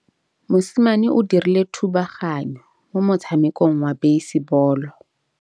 Mosimane o dirile thubaganyô mo motshamekong wa basebôlô.